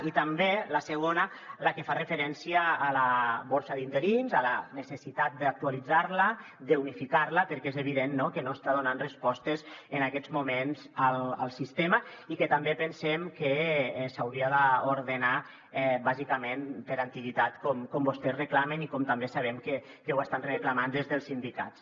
i també la segona la que fa referència a la borsa d’interins a la necessitat d’actualitzar la d’unificar la perquè és evident que no està donant respostes en aquests moments al sistema i que també pensem que s’hauria d’ordenar bàsicament per antiguitat com vostès reclamen i com també sabem que ho estan reclamant des dels sindicats